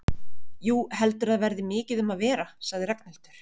Jú, heldurðu að það verði mikið um að vera? sagði Ragnhildur.